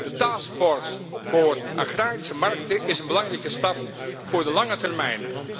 De taskforce voor agrarische markten is een belangrijke stap voor de lange termijn.